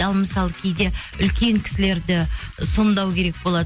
ал мысалы кейде үлкен кісілерді і сомдау керек болады